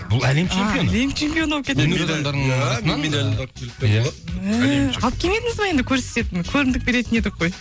бұл әлем чемпионы алып келмедіңіз бе енді көрсететін көрімдік беретін едік қой